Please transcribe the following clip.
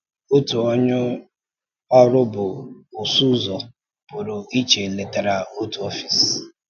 Òtu onye ọrụ bụ ọsụ ụzọ pụrụ iche letara òtu ọfịs.